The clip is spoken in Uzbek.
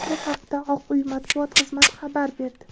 Bu haqda Oq uy matbuot xizmati xabar berdi.